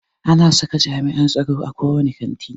Ana saka jami'an tsaro a ko wane kanti.